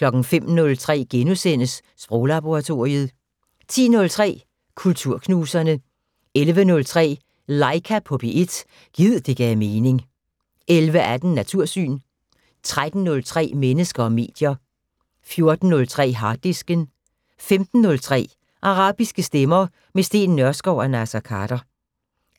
05:03: Sproglaboratoriet * 10:03: Kulturknuserne 11:03: Laika på P1 - gid det gav mening 11:18: Natursyn 13:03: Mennesker og medier 14:03: Harddisken 15:03: Arabiske stemmer - med Steen Nørskov og Naser Khader